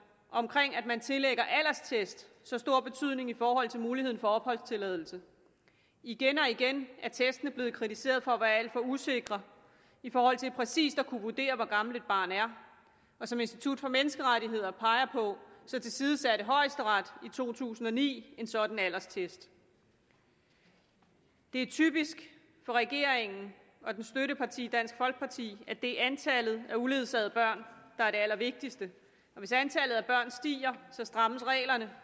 omkring at man tillægger alderstest så stor betydning i forhold til muligheden for opholdstilladelse igen og igen er testene blevet kritiseret for at være alt for usikre i forhold til præcis at kunne vurdere hvor gammelt et barn er og som institut for menneskerettigheder peger på tilsidesatte højesteret i to tusind og ni en sådan alderstest det er typisk for regeringen og dens støtteparti dansk folkeparti at det er antallet af uledsagede børn der er det allervigtigste hvis antallet af børn stiger strammes reglerne